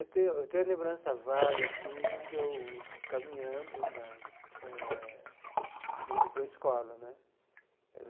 Eu tenho eu tenho a lembrança vaga assim de eu caminhando né eh, indo para uma escola né.